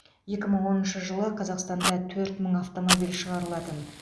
екі мың оныншы жылы қазақстанда төрт мың автомобиль шығарылатын